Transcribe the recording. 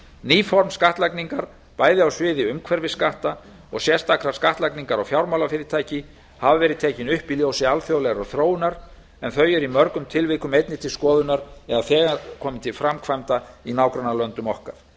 ný form skattlagningar bæði á sviði umhverfisskatta og sérstakrar skattlagningar á fjármálafyrirtæki hafa verið tekin upp í ljósi alþjóðlegrar þróunar en þau eru í mörgum tilvikum einnig til skoðunar eða þegar komin til framkvæmda í nágrannalöndum okkar